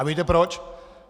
A víte proč?